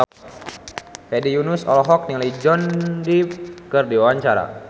Hedi Yunus olohok ningali Johnny Depp keur diwawancara